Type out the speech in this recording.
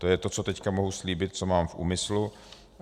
To je to, co teď mohu slíbit, co mám v úmyslu.